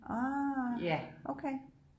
Ah okay